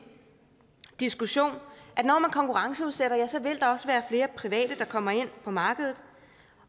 diskussion at når man konkurrenceudsætter ja så vil der også være flere private der kommer ind på markedet